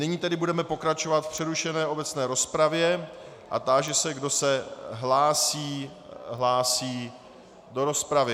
Nyní tedy budeme pokračovat v přerušené obecné rozpravě a táži se, kdo se hlásí do rozpravy.